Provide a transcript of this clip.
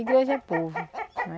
Igreja é povo, né.